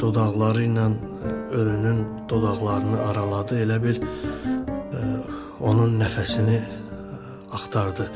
Dodaqları ilə ölünün dodaqlarını araladı, elə bil onun nəfəsini axtardı.